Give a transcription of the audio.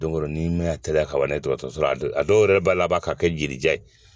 Don dɔ ni matarafa ka ban n'a ye dɔgɔtɔrɔso la a dɔw yɛrɛ b'a laban ka kɛ yirija ye